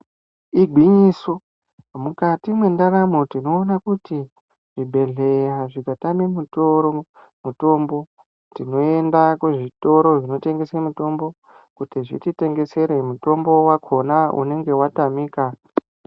Igwinyiso, mukati mwendaramo tinoona kuti zvibhedhleya zvikatame mutoro, mutombo tinoenda kuzvitoro zvinotengese mitombo, kuti zvititengesere mutombo wakona unenge watamika.